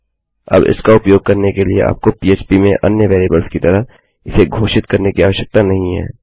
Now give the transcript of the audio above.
अबइसका उपयोग करने के लिए आपको पह्प में अन्य वेरिएबल्स की तरह इसे घोषित करने की आवश्यकता नहीं है